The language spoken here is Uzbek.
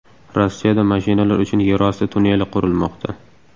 Rossiyada mashinalar uchun yerosti tunneli qurilmoqda.